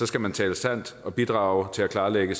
skal man tale sandt og bidrage til at klarlægge